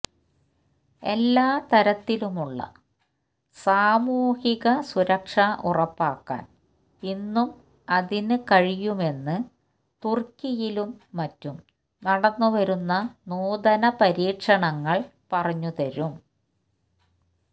എല്ലാ തരത്തിലുമുള്ള സാമൂഹിക സുരക്ഷ ഉറപ്പാക്കാന് ഇന്നും അതിന് കഴിയുമെന്ന് തുര്ക്കിയിലും മറ്റും നടന്നുവരുന്ന നൂതന പരീക്ഷണങ്ങള് പറഞ്ഞുതരും